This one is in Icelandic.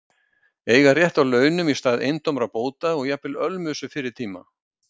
Eiga rétt á launum í stað eintómra bóta og jafnvel ölmusu fyrri tíma.